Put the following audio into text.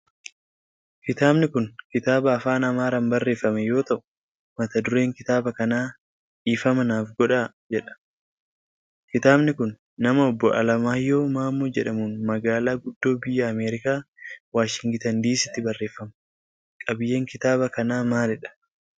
Kitaabni kun, kitaaba afaan Amaaraan barreeffame yoo ta'u, mata dureen kitaaba kanaa Dhiifama Naaf Godhaa jedha. Kitaabni kun, nama Obboo Alamaayyahu Maammoo jedhamuun magaalaa guddoo biyya Ameerikaa ,Waashingtan diisiitti barreeffama. Qabiiyyeen kitaaba kanaa maalidha?